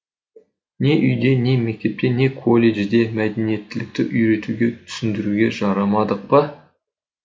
не үйде не мектепте не колледжде мәдениеттілікті үйретуге түсіндіруге жарамадық па